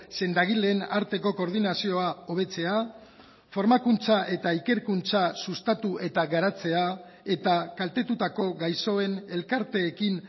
sendagileen arteko koordinazioa hobetzea formakuntza eta ikerkuntza sustatu eta garatzea eta kaltetutako gaixoen elkarteekin